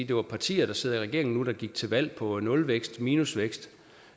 det var partier der sidder i regeringen nu der gik til valg på nulvækst minusvækst